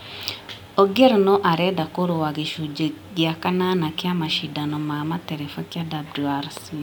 Ogier no arenda kũrũa gĩcunjĩ gĩa kanana kĩa macindano ma matereba kĩa WRC ,